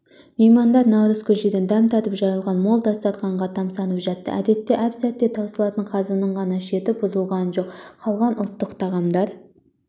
меймандар наурыз көжеден дәм татып жайылған мол дастарханға тамсанып жатты әдетте әп-сәтте таусылатын қазының ғана шеті бұзылған жоқ қалған ұлттық тағамдар